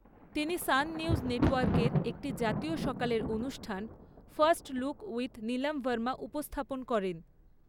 তিনি Sun News নেটওয়ার্কের একটি জাতীয় সকালের অনুষ্ঠান, first look with Neelam Verma উপস্থাপন করেন।